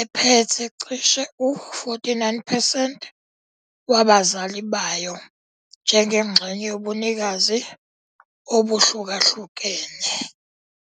ephethe cishe u-49 percent wabazali bayo njengengxenye yobunikazi obuhlukahlukene.